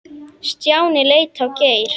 Stjáni leit á Geir.